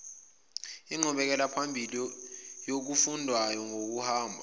inqubekelaphambili yokufundwayo ngokuhamba